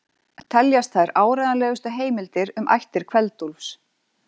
Teljast þær áreiðanlegustu heimildir um ættir Kveld-Úlfs.